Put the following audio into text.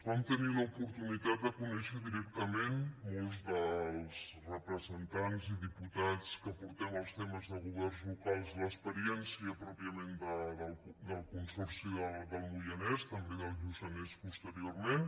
vam tenir l’oportunitat de conèixer directament molts dels representants i diputats que portem els temes de governs locals l’experiència pròpiament del consorci del moianès també del del lluçanès posteriorment